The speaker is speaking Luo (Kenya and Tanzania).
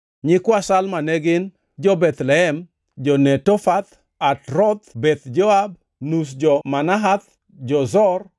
Nyikwa Salma ne gin: jo-Bethlehem, jo-Netofath; Atroth Beth Joab, nus jo-Manahath, jo-Zor,